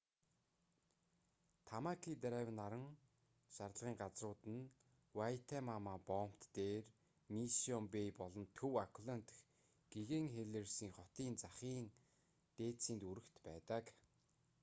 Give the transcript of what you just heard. тамаки драйв наран шарлагын газрууд нь вайтемама боомт дээр мишшион бэй болон төв ауклэнд дэх гэгээн хэлиерсийн хотын захын дээдсийн дүүрэгт байдаг